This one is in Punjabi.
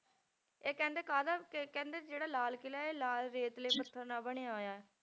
ਇਹ ਕਹਿੰਦੇ ਕਾਹਦਾ ਕਿ ਕਹਿੰਦੇ ਜਿਹੜਾ ਲਾਲ ਕਿਲ੍ਹਾ ਇਹ ਲਾਲ ਰੇਤਲੇ ਪੱਥਰ ਨਾਲ ਬਣਿਆ ਹੋਇਆ ਹੈ।